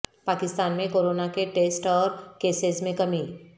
پاکستان میں کورونا کے ٹیسٹ اور کیسز میں کمی